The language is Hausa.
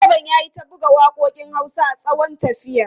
Direban ya yi ta buga waƙoƙin Hausa a tsawon tafiyar.